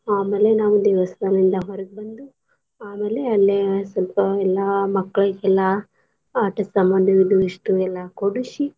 ಆಮೇಲೆ ನಾವ್ ದೇವಸ್ಥಾನ ದಿಂದ ಹೊರಗ್ ಬಂದು ಆಮೇಲೆ ಅಲ್ಲೆ ಸ್ವಲ್ಪ ಎಲ್ಲಾ ಮಕ್ಳಗೆಲ್ಲಾ ಆಟದ್ ಸಾಮಾನು ಅದು ಇಸ್ಟೂ ಎಲ್ಲಾ ಕೊಡಸಿ.